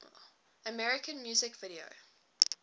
american music video